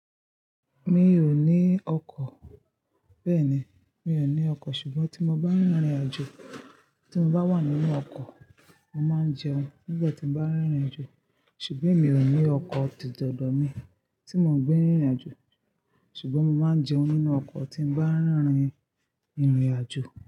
Mi o ni ọkọ̀. Bẹ́ẹ̀ni, mi o ni ọkọ̀ sùgbọ́n tí mo bá rìnrìnàjò, tí mo bá wà nínú ọkọ̀, mo máa ń jẹun nígbà tí mo bá rìnrìnàjò. Ṣùgbọ́n emi ò ní ọkọ̀ titọ̀dọ̀ mi tí mò ń gbé rìnrìnàjò. Ṣùgbọ́n mo máa ń jẹun nínú ọkọ̀ tí n bá ń rìnrìn, rìnrìnàjò.